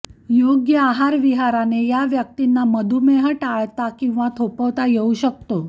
योग्य आहारविहाराने या व्यक्तींना मधुमेह टाळता किंवा थोपवता येऊ शकतो